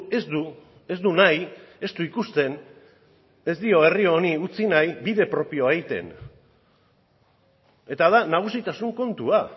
ez du ez du nahi ez du ikusten ez dio herri honi utzi nahi bide propioa egiten eta da nagusitasun kontua